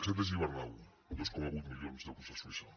sete gibernau dos coma vuit milions d’euros a suïssa